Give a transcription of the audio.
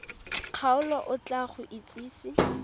kgaolo o tla go itsise